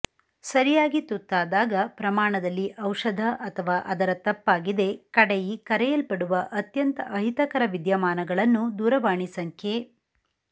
ಸರಿಯಾಗಿ ತುತ್ತಾದಾಗ ಪ್ರಮಾಣದಲ್ಲಿ ಔಷಧ ಅಥವಾ ಅದರ ತಪ್ಪಾಗಿದೆ ಕಡೆಯಿ ಕರೆಯಲ್ಪಡುವ ಅತ್ಯಂತ ಅಹಿತಕರ ವಿದ್ಯಮಾನಗಳನ್ನು ದೂರವಾಣಿ ಸಂಖ್ಯೆ